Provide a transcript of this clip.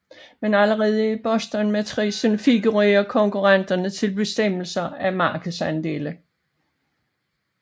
Men allerede i Bostonmatricen figurerer konkurrenter til bestemmelse af markedsandele